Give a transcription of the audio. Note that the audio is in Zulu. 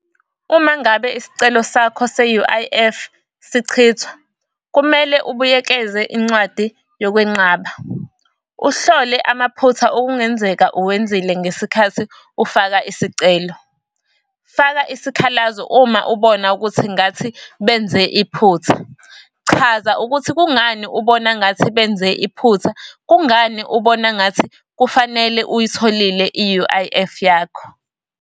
Uma ngabe isicelo sakho se-U_I_F sichithwa kumele ubuyekeze incwadi yokwenqaba, uhlole amaphutha okungenzeka uwenzile ngesikhathi ufaka isicelo. Faka isikhalazo uma ubona ukuthi ngathi benze iphutha, chaza ukuthi kungani ubona ngathi benze iphutha, kungani ubona ngathi kufanele uyitholile i-U_I_F yakho.